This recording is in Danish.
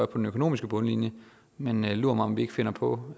den økonomiske bundlinje men lur mig om vi ikke finder på